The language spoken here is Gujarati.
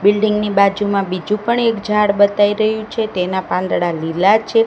બિલ્ડીંગ ની બાજુમાં બીજુ પણ એક ઝાડ બતાય રહ્યુ છે તેના પાંદડા લીલા છે.